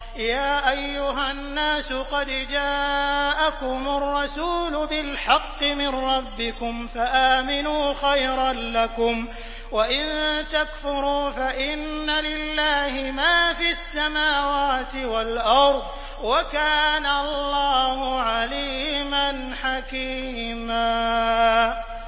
يَا أَيُّهَا النَّاسُ قَدْ جَاءَكُمُ الرَّسُولُ بِالْحَقِّ مِن رَّبِّكُمْ فَآمِنُوا خَيْرًا لَّكُمْ ۚ وَإِن تَكْفُرُوا فَإِنَّ لِلَّهِ مَا فِي السَّمَاوَاتِ وَالْأَرْضِ ۚ وَكَانَ اللَّهُ عَلِيمًا حَكِيمًا